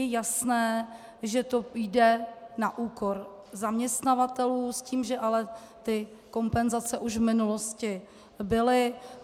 Je jasné, že to jde na úkor zaměstnavatelů, s tím, že ale ty kompenzace už v minulosti byly.